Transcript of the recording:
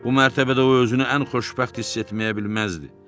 Bu mərtəbədə o özünü ən xoşbəxt hiss etməyə bilməzdi.